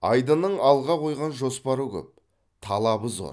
айдынның алға қойған жоспары көп талабы зор